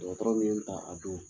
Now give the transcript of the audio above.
Dɔgɔtɔrɔw ye n ta a don.